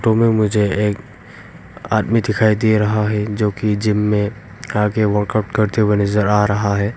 Room में मुझे एक आदमी दिखाई दे रहा है जो कि जिम में आगे वर्कआउट करते हुए नजर आ रहा है।